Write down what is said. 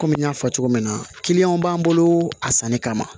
Kɔmi n y'a fɔ cogo min na b'an bolo a sanni kama